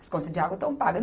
As contas de água estão pagas.